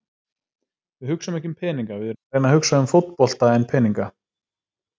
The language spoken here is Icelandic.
Við hugsum ekki um peninga, við erum að reyna að hugsa um fótbolta en peninga.